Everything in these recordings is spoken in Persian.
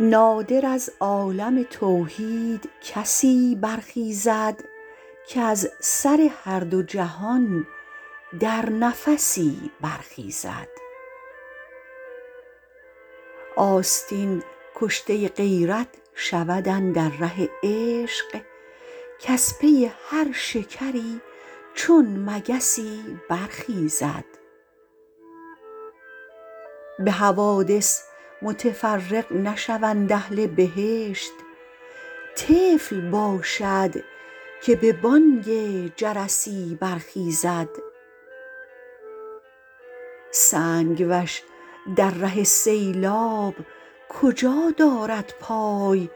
نادر از عالم توحید کسی برخیزد کز سر هر دو جهان در نفسی برخیزد آستین کشته غیرت شود اندر ره عشق کز پی هر شکری چون مگسی برخیزد به حوادث متفرق نشوند اهل بهشت طفل باشد که به بانگ جرسی برخیزد سنگ وش در ره سیلاب کجا دارد پای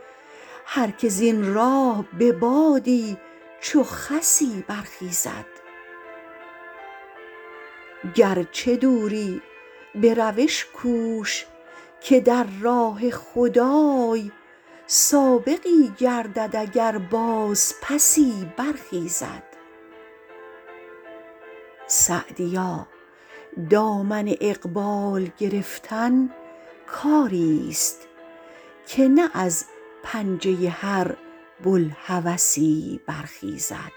هر که زین راه به بادی چو خسی برخیزد گرچه دوری به روش کوش که در راه خدای سابقی گردد اگر بازپسی برخیزد سعدیا دامن اقبال گرفتن کاریست که نه از پنجه هر بوالهوسی برخیزد